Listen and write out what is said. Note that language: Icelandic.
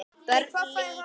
BÖRN LÝKUR